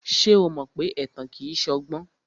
Ṣé o mọ pé ẹ̀tàn kìí ṣọgbọ́n?